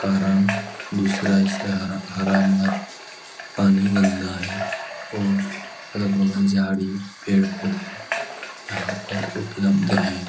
कारण दूसरा हिस्सा हरा-हरा पानी गन्दा है और अगल-बगल झाड़ी पेड़-पौधे यहाँ पर उपलब्ध हैं